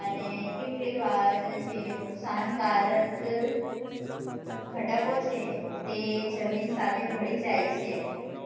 અને કેટલી વાર જે નુકસાનકારક ઘટકો છે એ જમીન સાથે ભળી જાય છે